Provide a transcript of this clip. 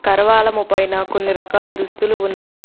కరవాలము పైన కొన్ని రకాల దుస్తులు ఉన్నాయి.